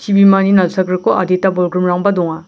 chibimani nalsagriko adita bolgrimrangba donga.